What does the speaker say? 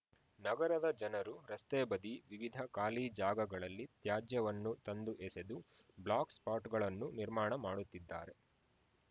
ನಗರದ ಜನರು ರಸ್ತೆ ಬದಿ ವಿವಿಧ ಖಾಲಿ ಜಾಗಗಳಲ್ಲಿ ತ್ಯಾಜ್ಯವನ್ನು ತಂದು ಎಸೆದು ಬ್ಲಾಕ್‌ಸ್ಪಾಟ್‌ಗಳನ್ನು ನಿರ್ಮಾಣ ಮಾಡುತ್ತಿದ್ದಾರೆ